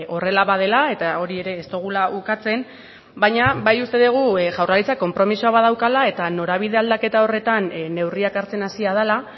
horrela badela eta hori ere ez dugula ukatzen baina bai uste dugu jaurlaritzak konpromisoa badaukala eta norabide aldaketa horretan neurriak hartzen hasia dela